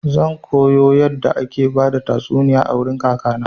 Zan koyo yadda ake bada tastuniya a wurin kaka na.